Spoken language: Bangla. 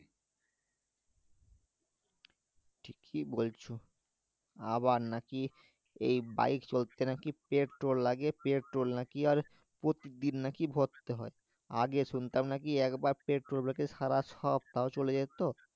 কি বলছো আবার নাকি এই বাইক চলতে নাকি প্রেট্রোল লাগে প্রেট্রোল নাকি আর প্রতিদিন নাকি ভরতে হয় আগে শুনতাম নাকি একবার প্রেট্রোল ভরলে নাকি সারা সপ্তাহ চলে যেত